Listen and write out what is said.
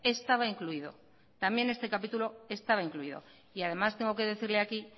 estaba incluido también este capítulo estaba incluido y además tengo que decirle aquí